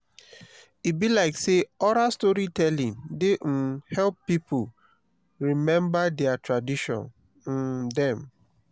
e be like sey oral storytelling dey um help pipo rememba their tradition um dem.